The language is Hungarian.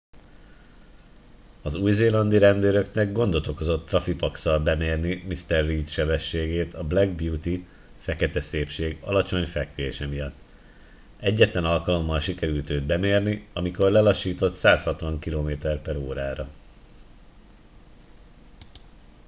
az új-zélandi rendőröknek gondot okozott traffipax-szal bemérni mr reid sebességét a black beauty fekete szépség alacsony fekvése miatt. egyetlen alkalommal sikerült őt bemérni amikor lelassított 160 km/h-ra